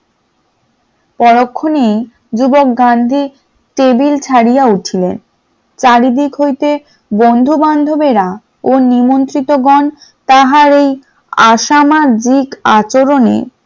পরক্ষণে যুবক গান্ধী টেবিল ছাড়িয়া উঠিলেন, চারদিক হইতে বন্ধু বান্ধবেরা ও নেমন্ত্রিতগণ তাহার এই অসামাজিক আচরণে